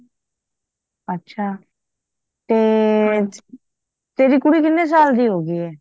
ਅੱਛਾ ਤੇ ਤੇਰੀ ਕੁੜੀ ਕਿਹਨੇ ਸਾਲ ਦੀ ਹੋ ਗਯੀ ਏ